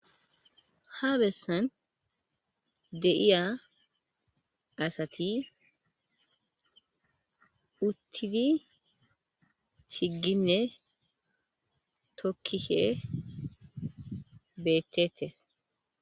Ha bessan de7iya asati uttidi chigginne tokkishe beettettes.